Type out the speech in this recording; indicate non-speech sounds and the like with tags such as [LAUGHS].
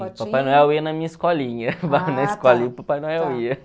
Papai Noel ia na minha escolinha, [LAUGHS] na escolinha o Papai Noel ia.